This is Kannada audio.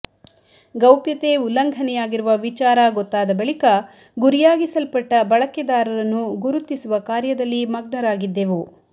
ಗೌಪ್ಯತೆ ಉಲ್ಲಂಘನೆಯಾಗಿರುವ ವಿಚಾರ ಗೊತ್ತಾದ ಬಳಿಕ ಗುರಿಯಾಗಿಸಲ್ಪಟ್ಟ ಬಳಕೆದಾರರನ್ನು ಗುರುತಿಸುವ ಕಾರ್ಯದಲ್ಲಿ ಮಗ್ನರಾಗಿದ್ದೆವು